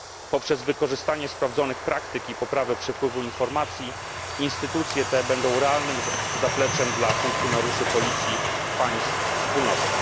Poprzez wykorzystanie sprawdzonych praktyk i poprawę przepływu informacji instytucje te będą realnym zapleczem dla funkcjonariuszy policji państw Wspólnoty.